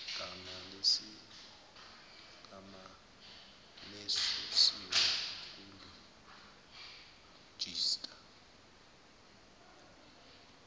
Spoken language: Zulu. gama lesusiwe kulejista